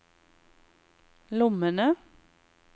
lommene